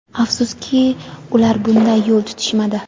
Afsuski, ular bunday yo‘l tutishmadi.